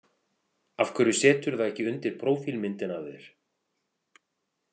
Af hverju seturðu það ekki undir prófílmyndina af þér?